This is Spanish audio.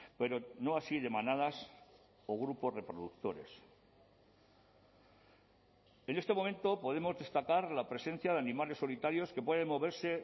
pero no así de manadas o grupos reproductores en este momento podemos destacar la presencia de animales solitarios que pueden moverse